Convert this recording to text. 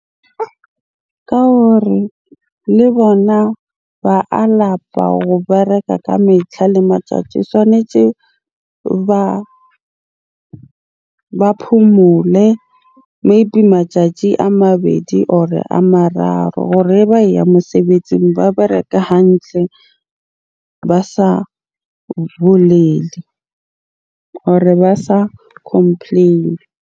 Ka hore le bona ba a lapa ho bereka ka metlha le matsatsi. Tshwanetse ba phomole, maybe matjatji a mabedi or a mararo hore ha ba e ya mosebetsing ba bereka hantle ba sa bolele or-e ba sa complain-e.